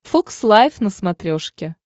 фокс лайв на смотрешке